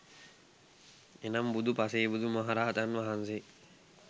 එනම් බුදු, පසේබුදු, මහරහතන් වහන්සේ